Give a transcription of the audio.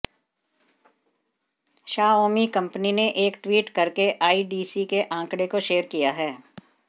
Xiaomi company ने एक tweet करके आईडीसी के आंकड़े को शेयर किया है